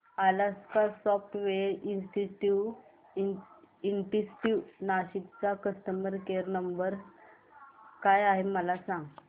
Alaska software institute Nashik चा customer care number काय आहे मला सांग